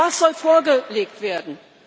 Was soll vorgelegt werden?